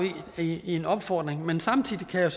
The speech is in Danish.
i en opfordring men samtidig kan jeg